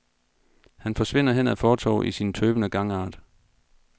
Han forsvinder hen ad fortovet i sin tøvende gangart.